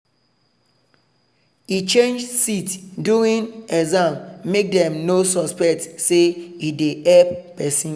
e change seat during exam make dem no suspect say e dey help person.